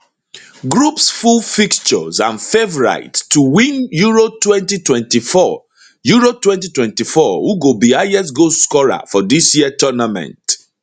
groups full fixtures and favourites to to win euro 2024 euro 2024 who go be highest goal scorer for dis year tournament